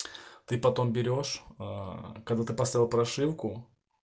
ты потом берёшь аа когда ты поставил прошивку